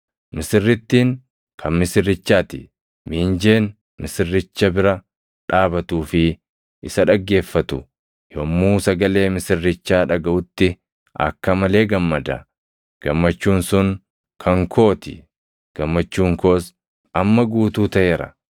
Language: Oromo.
Misirrittiin kan misirrichaa ti. Miinjeen misirricha bira dhaabatuu fi isa dhaggeeffatu, yommuu sagalee misirrichaa dhagaʼutti akka malee gammada. Gammachuun sun kan koo ti; gammachuun koos amma guutuu taʼeera.